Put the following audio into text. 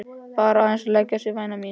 Bara aðeins að leggja sig væna mín.